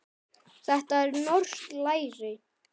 Þetta er norskt læri.